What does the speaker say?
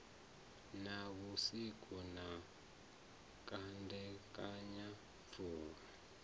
na vhusiku na kandekanya pfulo